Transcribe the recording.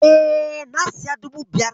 E, na siya dubu biyar.